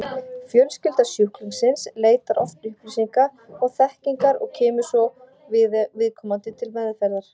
Fjölskylda sjúklingsins leitar oft upplýsinga og þekkingar og kemur svo viðkomandi til meðferðar.